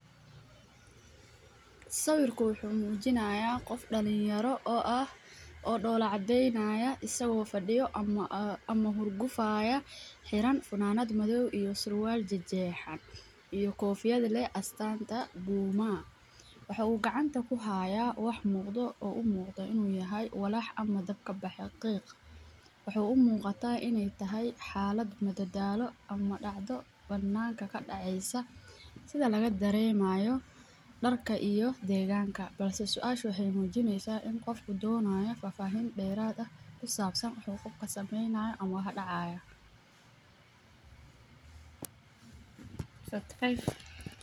Sawiirkaan wuxuu mujinaaya qof dalin yara ah saga oo fadiyo meel oo iska faraxsan asaga oo qabo dar fican qofka uu doonayo fahafahin deerad ah.